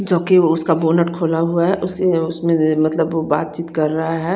जो की उसका बोनट खुला हुआ है उसके लिए उसमें देर मतलब बात चित कर रहे है।